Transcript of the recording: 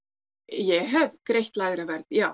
ég hef greitt lægra verð já